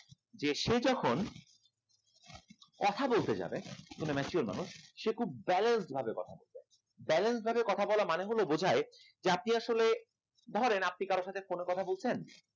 দেশে যখন কথা বলতে যাবেন কোনো mature মানুষ সে খুব balanced ভাবে কথা বলেন balanced ভাবে কথা বলা মানে বোঝায় আপনি আসলে ধরেন আপনি আসলে ধরেন আপনি কারোর সাথে phone এ কথা বলছেন